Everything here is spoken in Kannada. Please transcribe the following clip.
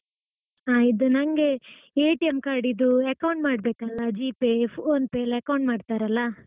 ಹಾ ಇದು ನಂಗೆ card ಇದ್ದು account ಮಾಡಬೇಕಲ್ಲಾ Gpay, PhonePe ಎಲ್ಲಾ account ಮಾಡ್ತಾರಲ್ಲಾ.